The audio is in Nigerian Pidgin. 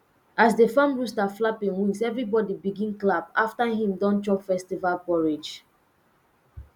as the farm rooster flap him wings everybody begin clap after him don chop festival porridge